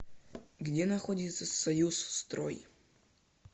где находится союз строй